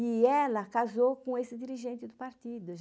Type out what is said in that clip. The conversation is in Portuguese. E ela casou com esse dirigente do partido.